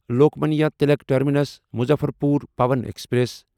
Lokmanya Tilak terminus Muzaffarpur Pawan express